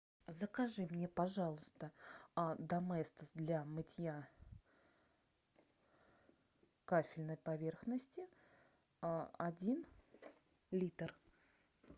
закажи мне пожалуйста доместос для мытья кафельной поверхности один литр